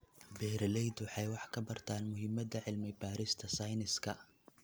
Beeraleydu waxay wax ka bartaan muhiimadda cilmi-baarista sayniska.